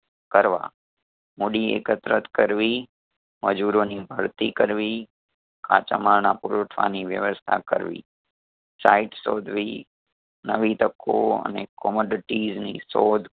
કરવા મૂડી એકત્રિત કરવી, મજૂરોની ભરતી કરવી, કાચા માલના પુરવઠાની વ્યવસ્થા કરવી site શોધવી નવી તકો અને ની શોધ